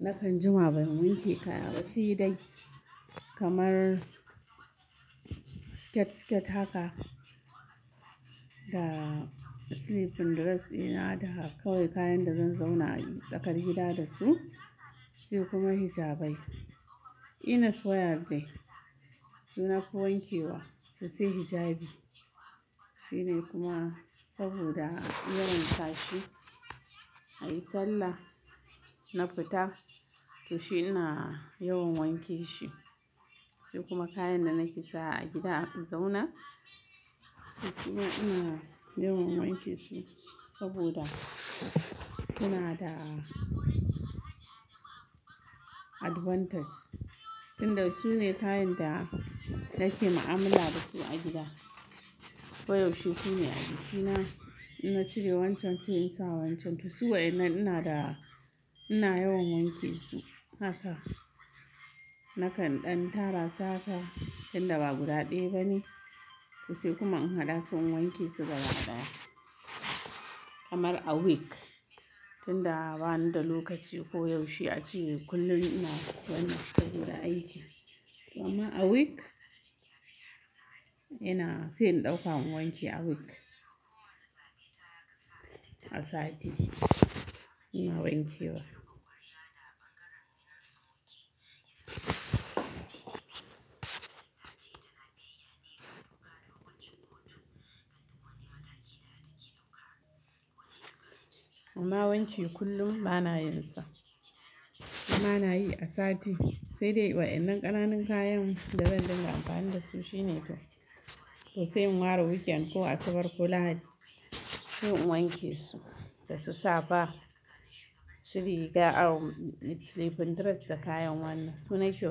Nakan jima ban wanke kaya ba, sai dai kamar skirt skirt haka da sleeping dress dina da kawai kayan da zan zauna tsakar gida da su, sai kuma hijabai. Inna soya bai suna koyan kewa sosai hijabi. Shi ne kuma saboda in yawan sashi, a yi sallah, na fita to shi ina yawan wanke shi. Sai kuma kayan da nake sawa a gida in zauna to su ma ina yawan wanke su saboda suna da advantage tunda su ne kayan da nake ma'amala da su a gida koyaushe. Su ne a jiki na cire wancan sai in sawa wancan to su wayannan ina da, ina yawan wanke su haka. Nakan ɗan tara su haka tunda ba guda ɗaya bane to sai kuma in haɗa su wanke su gaba ɗaya kamar a week tunda bani da lokaci koyaushe a ciki kullum ina gwanin tafiya guda aiki. To amma a week ina sai in ɗauka in wanke a week, a sati ina wanke wa. Amma wanki kullum bana yinsa amma nayi a sati sai dai wayannan ƙananun kayan da zan dinga amfani da su shi ne to sai in ware weekend ko asabar, lahadi sai in wanke su da su saba su riga sleeping dress da kayan wannan su na kyau.